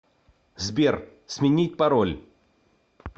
сбер сменить пароль